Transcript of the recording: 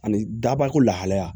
Ani dabako lahalaya